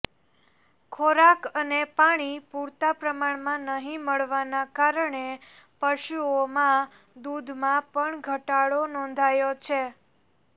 ખોરાક અને પાણી પુરતા પ્રમાણમાં નહીં મળવાના કારણે પશુઓમાં દુધમાં પણ ઘટાડો નોંધાયો છે